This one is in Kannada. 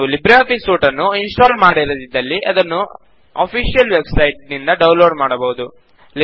ನೀವು ಲಿಬ್ರೆ ಆಫಿಸ್ ಸೂಟ್ ನ್ನು ಇನ್ ಸ್ಟಾಲ್ ಮಾಡಿರದಿದ್ದಲ್ಲಿ ಅದನ್ನು ಆಫಿಸಿಯಲ್ ವೆಬ್ ಸೈಟ್ ನಿಂದ ಡೌನ್ ಲೋಡ್ ಮಾಡಬಹುದು